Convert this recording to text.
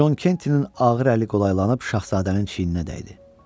Con Kentinin ağır əli qolaylanıb şahzadənin çiyninə dəydi.